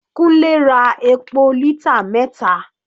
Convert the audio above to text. Kunle ra epo lítà mẹta.